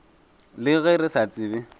le ge re sa tsebe